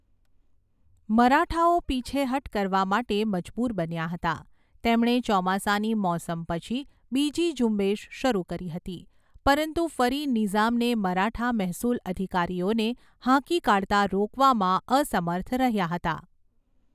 મરાઠાઓ પીછેહઠ કરવા માટે મજબૂર બન્યા હતા, તેમણે ચોમાસાની મોસમ પછી બીજી ઝુંબેશ શરૂ કરી હતી, પરંતુ ફરી નિઝામને મરાઠા મહેસૂલ અધિકારીઓને હાંકી કાઢતા રોકવામાં અસમર્થ રહ્યા હતા.